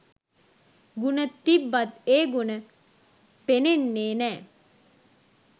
ගුණ තිබ්බත් ඒ ගුණ පෙනෙන්නේ නෑ.